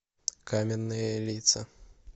каменные лица